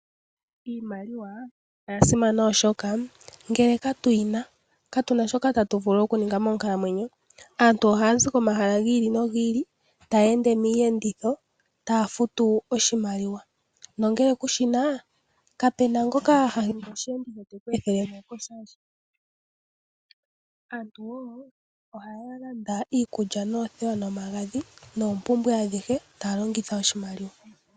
Iimaliwa oya simana oshoka ngele ka tu yina ka tuna shoka tatu vulu oku ninga monkalamwenyo. Aantu ohaya zi ko mahala gi ili nogi ili, taya ende miiyenditho, taa futu oshimaliwa. Nongele ku shina , ka pena ngoka te ku ethele mosheenditho she oshali. Aantu woo ohaya landa iikulya noothewa nomagadhi noompumbwe adhihe taya longitha oshimaliwa.